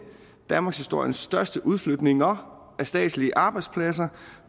danmarkshistoriens største udflytninger af statslige arbejdspladser